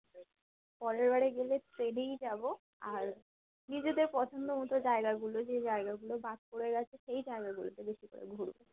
পরের বারে গেলে train এই যাবো আর নিজেদের পছন্দ মতো জায়গাগুলো যে জায়গাগুলো বাদ চলে গেছে সেই জায়গাগুলোতে বেশি করে ঘুরবো